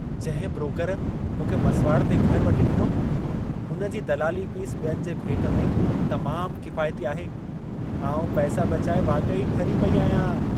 जंहिं ब्रोकर मूंखे मसुवाड़ ते घरु वठी ॾिनो, हुन जी दलाली फ़ीस ॿियनि जे भेट में तमामु किफ़ाइती आहे। आउं पैसा बचाए वाक़ई ठरी पेई आहियां।